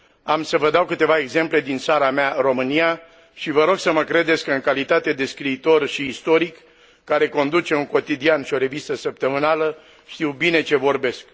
Am să vă dau câteva exemple din țara mea, România, și vă rog să mă credeți că, în calitate de scriitor și istoric, care conduce un cotidian și o revistă săptămânală, știu bine ce vorbesc.